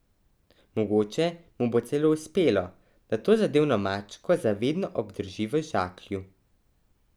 Mogoče mu bo celo uspelo, da tozadevno mačko za vedno obdrži v žaklju.